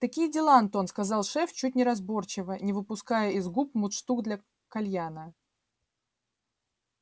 такие дела антон сказал шеф чуть неразборчиво не выпуская из губ мундштук для кальяна